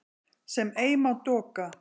sem ei má doka